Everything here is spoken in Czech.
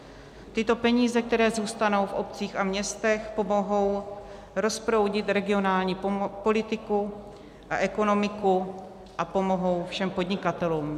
Tyto peníze, které zůstanou v obcích a městech, pomohou rozproudit regionální politiku a ekonomiku a pomohou všem podnikatelům.